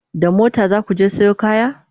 da mota zaku je Sayo kaya?